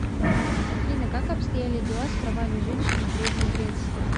афина как обстояли дела с правами женщин в древней греции